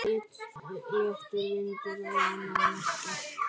Léttur vindur á annað markið.